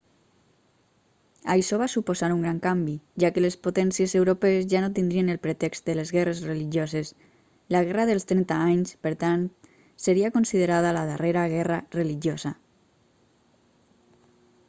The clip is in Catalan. això va suposar un gran canvi ja que les potències europees ja no tindrien el pretext de les guerres religioses la guerra dels trenta anys per tant seria considerada la darrera guerra religiosa